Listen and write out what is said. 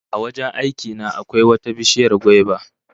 A wajen aiki na akwai wata bishiyar gwaiba